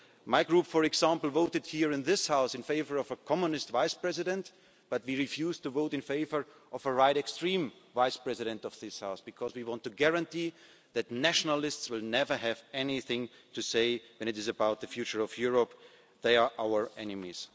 continent. My group, for example, voted here in this House in favour of a Communist Vice President, but we refused to vote in favour of a far right Vice President of this House because we want to guarantee that nationalists will never have anything to say about the future of Europe. They are our